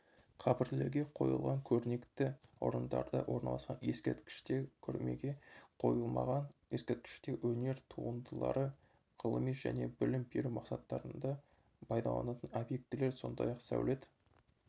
қабірлерге қойылған көрнекті орындарда орналасқан ескерткіштер көрмеге қойылмаған ескерткіштер өнер туындылары ғылыми және білім беру мақсаттарында пайдаланылатын объектілер сондай-ақ сәулет